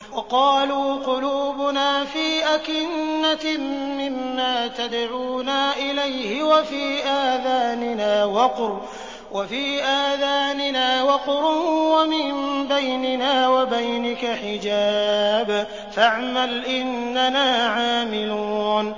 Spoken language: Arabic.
وَقَالُوا قُلُوبُنَا فِي أَكِنَّةٍ مِّمَّا تَدْعُونَا إِلَيْهِ وَفِي آذَانِنَا وَقْرٌ وَمِن بَيْنِنَا وَبَيْنِكَ حِجَابٌ فَاعْمَلْ إِنَّنَا عَامِلُونَ